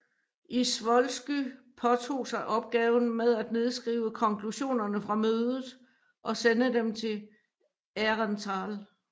Izvolsky påtog sig opgaven med at nedskrive konklusionerne fra mødet og sende dem til Aehrenthal